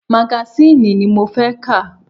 Magasiini ni mo fẹ́ ka!